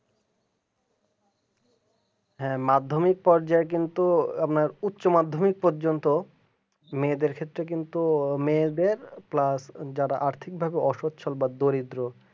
হ্যাঁ মাধ্যমিক পর্যায়ে কিন্তু আপনার উচ্চ মাধ্যমিক পর্যন্ত মেয়েদের ক্ষেত্রে কিন্তু মেয়েদের plus আর্থিকভাবে অসুস্থ বা দরিদ্র